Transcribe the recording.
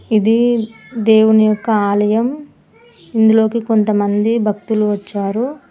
ఇది దేవుని యొక్క ఆలయం ఇందులోకి కొంత మంది భక్తులు వచ్చారు.